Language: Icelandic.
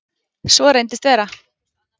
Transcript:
Svo reyndist vera.